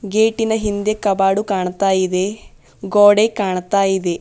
ಗೇಟಿನ ಹಿಂದೆ ಕಬಾಡು ಕಾಣ್ತಾ ಇದೆ ಗೋಡೆ ಕಾಣ್ತಾ ಇದೆ.